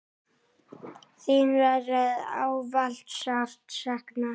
Þín verður ávallt sárt saknað.